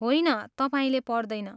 होइन, तपाईँले पर्दैन।